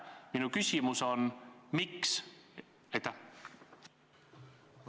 Minu küsimus on: miks?